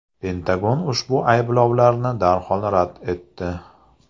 Pentagon ushbu ayblovlarni darhol rad etdi .